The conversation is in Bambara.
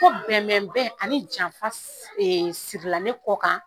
Ko bɛnbɛn ani janfa sirila ne kɔ kan